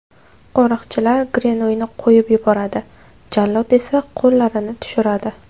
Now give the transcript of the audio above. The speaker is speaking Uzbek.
Qo‘riqchilar Grenuyni qo‘yib yuboradi, jallod esa qo‘llarini tushiradi.